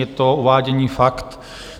Je to uvádění faktů.